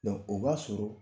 o b'a sɔrɔ